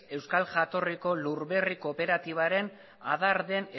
euskal jatorriko lur berri kooperatibaren adar den